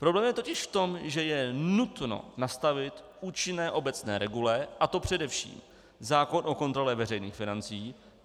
Problém je totiž v tom, že je nutno nastavit účinné obecné regule, a to především zákon o kontrole veřejných financí.